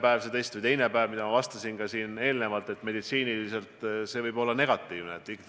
Seda, et kui teha esimene või teine päev pärast kojutulekut see test, siis nagu ma juba ütlesin, vastus võib olla negatiivne.